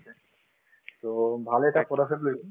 so, ভাল এটা পদক্ষেপ লৈছে